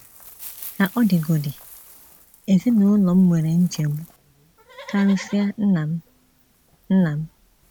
Ka ọ dịgodị, ezinụlọ m nwere nchegbu, karịsịa nna m. nna m.